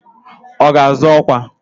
Ọ ga-azọ ọkwa?